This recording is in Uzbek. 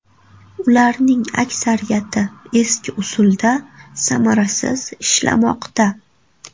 Ularning aksariyati eski usulda, samarasiz ishlamoqda.